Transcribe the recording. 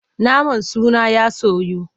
Naman suna ya soyu.